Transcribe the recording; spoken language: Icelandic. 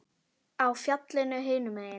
Á fjallið hinum megin.